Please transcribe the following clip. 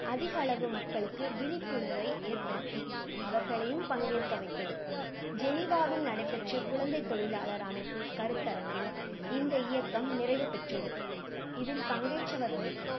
அதிகளவு மக்களுக்கு விழிப்புணர்வை ஏற்படுத்தி, அவர்களையும் பங்கேற்க வைத்தது. ஜெனிவாவில் நடைபெற்ற குழந்தைத் தொழிலாளர் அமைப்பு கருத்தரங்கில் இந்த இயக்கம் நிறைவுபெற்றது. இதில் பங்கேற்றவர்கள்